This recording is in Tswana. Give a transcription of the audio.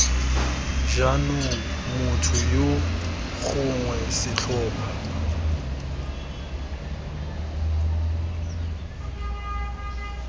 jaanong motho yo gongwe setlhopha